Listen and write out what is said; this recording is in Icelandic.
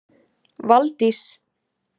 Valdís